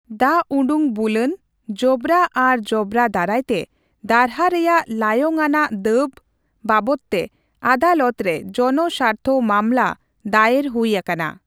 ᱫᱟᱜ ᱩᱰᱩᱠ ᱵᱩᱞᱟᱹᱱ, ᱡᱚᱵᱽᱨᱟ ᱟᱨ ᱡᱚᱵᱽᱨᱟ ᱫᱟᱨᱟᱭᱛᱮ ᱫᱟᱨᱦᱟ ᱨᱮᱭᱟᱜ ᱞᱟᱭᱚᱝ ᱟᱱᱟᱜ ᱫᱟᱹᱵᱽ ᱵᱟᱵᱚᱛᱼᱛᱮ ᱟᱫᱟᱞᱚᱛ ᱨᱮ ᱡᱚᱱᱚ ᱥᱟᱨᱛᱷᱚ ᱢᱟᱞᱢᱟ ᱫᱟᱭᱮᱨ ᱦᱩᱭ ᱟᱠᱟᱱᱟ ᱾